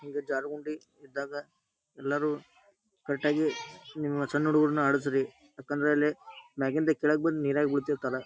ಹಿಂಗ ಜಾರುಗುಂಡಿ ಇದ್ದಾಗ ಎಲ್ಲಾರು ಕರೆಟ್ಟಾಗಿ ನಿಮ್ಮ ಸಣ್ ಹುಡುಗೂರನ್ನ ಆಡಸ್ರಿ ಯಾಕಂದ್ರ ಅಲ್ಲೆ ಎಲ್ಲಾರು ಮ್ಯಾಗಿಂದ ಕೆಳಗ್ ಬಂದ ಬೀಳ್ತಿರ್ತಾರ.